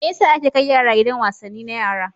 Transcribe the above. Me ya sa ake kai yara gidan wasanni na yara?